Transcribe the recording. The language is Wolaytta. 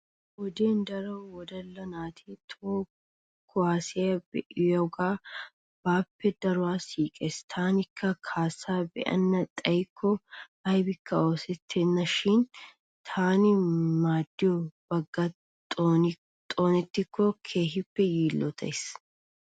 Ha wodiyan daro wodalla naati toho kuwaasiya be'iyoogaa baappe daruwan siiqes. Tanikka kaassaa be'ana xayikko aybikka oosettenna shin taani maaddiyo baggay xoonettikko keeshippe yiillotayis.